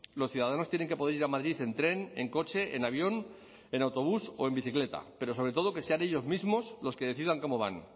los ciudadanos tienen que poder ir a madrid en tren en coche en avión en autobús o en bicicleta pero sobre todo que sean ellos mismos los que decidan cómo van